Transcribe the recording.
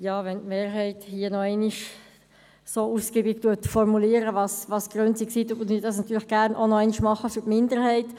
Weil die Mehrheit noch einmal so ausgiebig ihre Gründe dargelegt hat, tue ich das hier gerne auch noch einmal für die Minderheit.